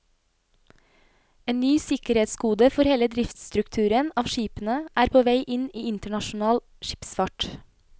En ny sikkerhetskode for hele driftsstrukturen av skipene er på vei inn i internasjonal skipsfart.